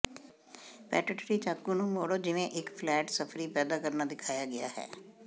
ਪੈਟਟੀ ਚਾਕੂ ਨੂੰ ਮੋੜੋ ਜਿਵੇਂ ਇਕ ਫਲੈਟ ਸਫਰੀ ਪੈਦਾ ਕਰਨਾ ਦਿਖਾਇਆ ਗਿਆ ਹੈ